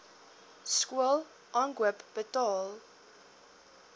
skool aankoop betaal